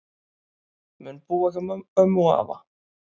Mun búa hjá ömmu og afa